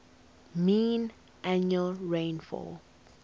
mean annual rainfall